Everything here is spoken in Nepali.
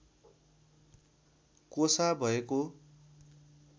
कोसा भएको